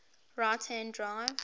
right hand drive